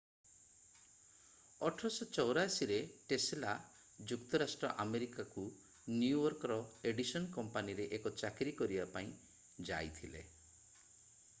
1884 ରେ ଟେସଲା ଯୁକ୍ତରାଷ୍ଟ୍ର ଆମେରିକା କୁ ନ୍ୟୁୟର୍କ ର ଏଡିସନ କମ୍ପାନୀରେ ଏକ ଚାକିରି କରିବା ପାଇଁ ଯାଇଥିଲେ